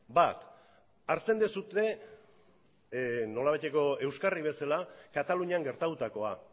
bat hartzen duzue nolabaiteko euskarri bezala katalunian gertatutakoa